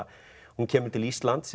hún kemur til Íslands